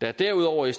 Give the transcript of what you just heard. der er derudover i